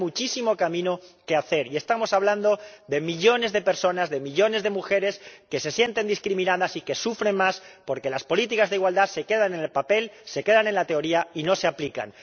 Hay muchísimo camino que recorrer, y estamos hablando de millones de personas, de millones de mujeres que se sienten discriminadas y que sufren más porque las políticas de igualdad se quedan en el papel, se quedan en la teoría y no se aplican.